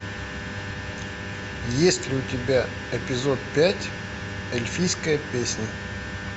есть ли у тебя эпизод пять эльфийская песня